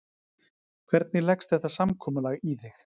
Hvernig leggst þetta samkomulag í þig?